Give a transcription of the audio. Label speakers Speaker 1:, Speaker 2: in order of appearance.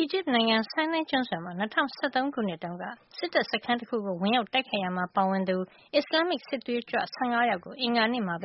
Speaker 1: အီဂျစ်နိုင်ငံ ဆိုင်းနိုင်းကျွန်းဆွယ်မှာ ၂၀၁၃ ခုနှစ်တုန်းက စစ်တပ်စခန်းတခုကို ဝင်ရောက် တိုက်ခိုက်ရာမှာ ပါဝင်သူ အစ္စလာမ္မစ်စစ်သွေးကြွ ၁၅ ယောက်ကို အင်္ဂါနေ့မှာ